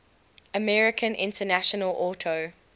american international auto